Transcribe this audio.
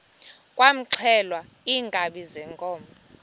kwaxhelwa iinkabi zeenkomo